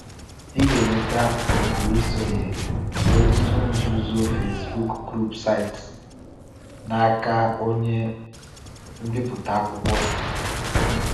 Ị ga-enweta oku isonye n’otu nzuzo Facebook Group site n’aka onye mbipụta akwụkwọ m.